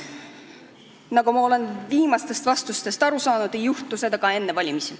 Nagu ma olen viimastest vastustest aru saanud, ei juhtu seda ka enne valimisi.